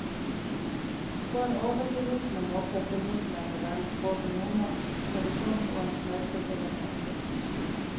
På en overbevisende måte formidler novellen både nordnordk tradisjon og en flerkulturell samtid.